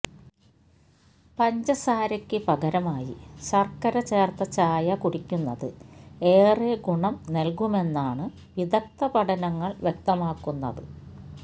പഞ്ചസാരയ്ക്ക് പകരമായി ശര്ക്കര ചേര്ത്ത ചായ കുടിക്കുന്നത് ഏറെ ഗുണം നല്കുമെന്നാണ് വിദഗ്ദ്ധ പഠനങ്ങള് വ്യക്തമാക്കുന്നത്